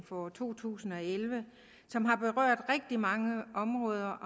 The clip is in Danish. for to tusind og elleve som har berørt rigtig mange områder